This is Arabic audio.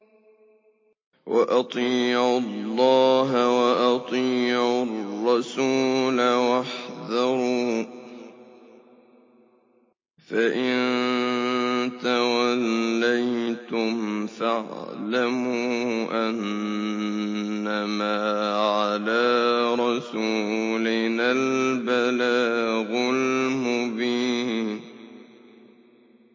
وَأَطِيعُوا اللَّهَ وَأَطِيعُوا الرَّسُولَ وَاحْذَرُوا ۚ فَإِن تَوَلَّيْتُمْ فَاعْلَمُوا أَنَّمَا عَلَىٰ رَسُولِنَا الْبَلَاغُ الْمُبِينُ